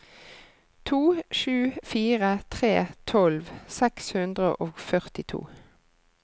to sju fire tre tolv seks hundre og førtito